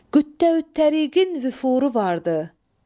Qüddə vü təriqin vüfuru vardı.